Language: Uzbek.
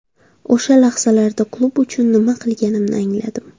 O‘sha lahzalarda klub uchun nima qilganimni angladim.